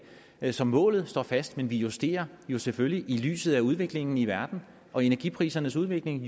så målet står fast men vi justerer jo selvfølgelig på i lyset af udviklingen i verden og energiprisernes udvikling